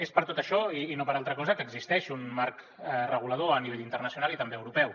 és per tot això i no per altra cosa que existeix un marc regulador a nivell internacional i també europeu